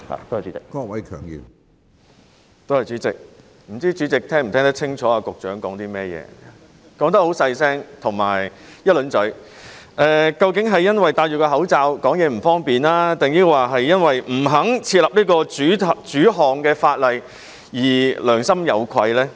不知主席是否聽得清楚局長剛才在說甚麼，他的聲量很小，而且說得很快，是因為戴上口罩令說話不便，還是因為他不肯訂立專項法例而良心有愧呢？